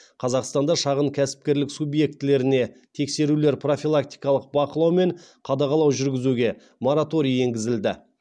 қазақстанда шағын кәсіпкерлік субъектілеріне тексерулер профилактикалық бақылау мен қадағалау жүргізуге мораторий енгізілді